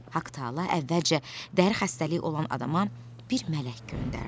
Haqq-Taala əvvəlcə dəri xəstəliyi olan adama bir mələk göndərdi.